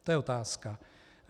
To je otázka.